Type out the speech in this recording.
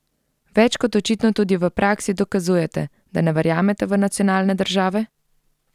Več kot očitno tudi v praksi dokazujete, da ne verjamete v nacionalne države?